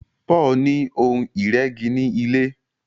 Paul ní Ohun ìrẹ́gi ní ilé.